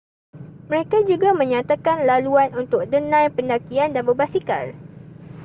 mereka juga menyatakan laluan untuk denai pendakian dan berbasikal